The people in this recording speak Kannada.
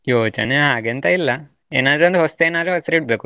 ಯೋಚನೆ ಹಾಗೆಂತ ಇಲ್ಲ, ಏನಾದ್ರೂ ಒಂದು ಹೊಸ್ತು ಏನಾದ್ರೂ ಹೆಸರಿಡ್ಬೇಕು.